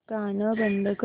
गाणं बंद कर